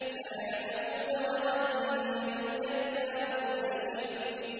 سَيَعْلَمُونَ غَدًا مَّنِ الْكَذَّابُ الْأَشِرُ